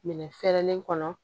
Minɛn fɛrɛlen kɔnɔ